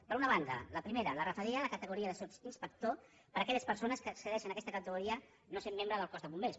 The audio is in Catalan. per una banda la primera la referida a la categoria de sotsinspector per a aquelles persones que accedei·xen a aquesta categoria no essent membres del cos de bombers